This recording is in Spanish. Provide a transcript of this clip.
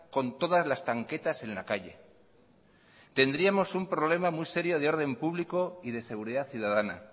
con todas las tanquetas en la calle tendríamos un problema muy serio de orden público y de seguridad ciudadana